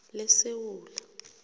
lesewula